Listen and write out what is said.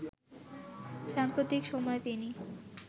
সাম্প্রতিক সময়ে তিনি